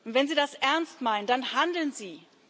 Wenn Sie das ernst meinen, dann handeln Sie!